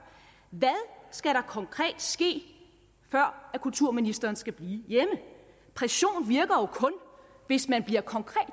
hvad skal der konkret ske før kulturministeren skal blive hjemme pression virker jo kun hvis man bliver konkret